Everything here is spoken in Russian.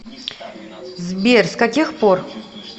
сбер с каких пор